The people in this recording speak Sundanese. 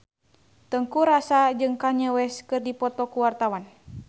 Teuku Rassya jeung Kanye West keur dipoto ku wartawan